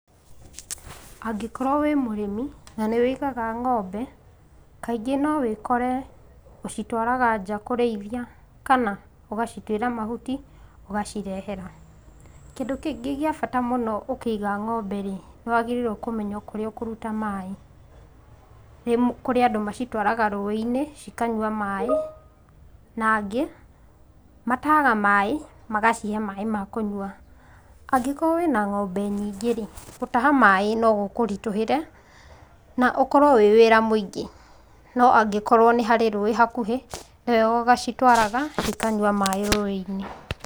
Angĩkorwo wĩ mũrĩmi, na ũigaga ng'ombe, no ũkore kaingĩ ũcitwaraga nja kũrĩithia kana ũgacituĩra mahuti ũgacirehera. Kĩndũ kĩngĩ gĩa bata mũno ũkĩiga ng'ombe-rĩ, nĩ wagĩrĩirwo kũmenya kũrĩa ũkũruta maĩ. Kũrĩ arĩa macitwaraga rũĩ-inĩ cikanyua maĩ, na angĩ, matahaga maĩ magacihe maĩ ma kũnyua. Angĩkorwo wĩna ng'ombe nyingĩ-rĩ, gũtaha maĩ no gũkũritũhĩre, na ũkorwo wĩwĩra mũingĩ. No angĩkorwo nĩharĩ rũĩ hakuhĩ, nĩwega ũgacitwaraga cikanyua maĩ rũĩ-inĩ.